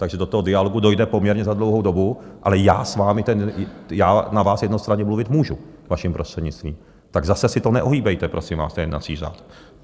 Takže do toho dialogu dojde poměrně za dlouhou dobu, ale já na vás jednostranně mluvit můžu, vaším prostřednictvím, tak zase si to neohýbejte, prosím vás, ten jednací řád!